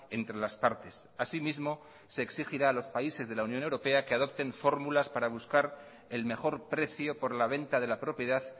entre las partes así mismo se exigirá a los países de la unión europea que adopten fórmulas para buscar el mejor precio por la venta de la propiedad